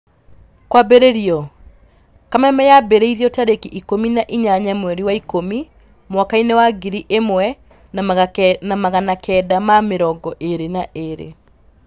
Kwambĩrĩrio: Kameme yambĩrĩirio tarĩki ikũmi na inyanya mweri wa ikũmi mwakainĩ wa ngiri ĩmwe na magana kenda ma mĩrongo ĩrĩ na ĩrĩ.